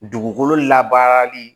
Dugukolo labaarali